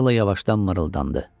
Akela yavaşdan mırıldandı.